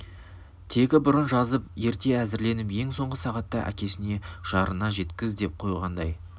тегі бұрын жазып ерте әзірлеп ең соңғы сағатта әкесіне жарына жеткіз деп қойғандай